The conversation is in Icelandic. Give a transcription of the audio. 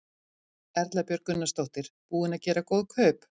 Erla Björg Gunnarsdóttir: Búinn að gera góð kaup?